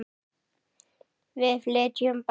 Við flytjum bara!